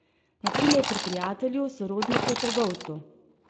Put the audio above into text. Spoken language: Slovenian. Na primer pri prijatelju, sorodniku, trgovcu.